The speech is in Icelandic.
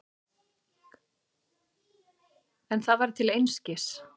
En það var til einskis.